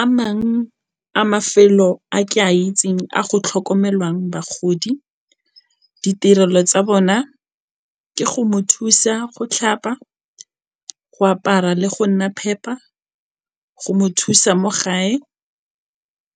A mang a mafelo a ke a itseng a go tlhokomelwang bagodi, ditirelo tsa bona ke go mo thusa go tlhapa, go apara le go nna phepa, go mo thusa mo gae